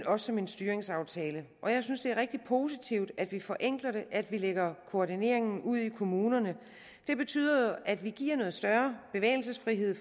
og som en styringsaftale jeg synes det er rigtig positivt at vi forenkler det at vi lægger koordineringen ud i kommunerne det betyder jo at vi giver større bevægelsesfrihed